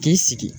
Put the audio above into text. K'i sigi